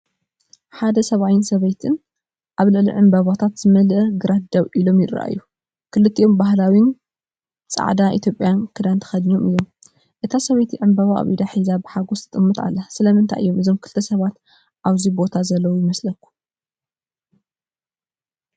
ሓደ ሰብኣይን ሰበይትን ኣብ ልዕሊ ዕምባባታት ዝመልአ ግራት ደው ኢሎም ይረኣዩ። ክልቲኦም ባህላዊ ጻዕዳ ኢትዮጵያዊ ክዳን ተኸዲኖም እዮም። እታ ሰበይቲ ዕምባባ ኣብ ኢዳ ሒዛ ብሓጎስ ትጥመት ኣላ። ስለምንታይ እዮም እዞም ክልተ ሰባት ኣብዚ ቦታ ዘለዉ ይመስለኩም?